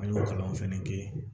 An y'o kalan fɛnɛ kɛ